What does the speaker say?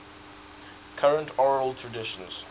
current oral traditions